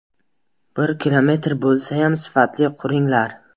Bir kilometr bo‘lsayam, sifatli quringlar.